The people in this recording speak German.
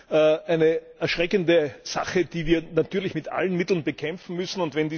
Dies ist eine erschreckende Sache, die wir natürlich mit allen Mitteln bekämpfen müssen.